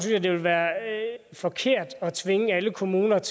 jeg det ville være forkert at tvinge alle kommuner ind